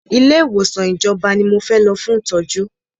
Ilé ìwòsàn tí ìjọba ní mo fẹ́ lọ fún ìtọ́jú!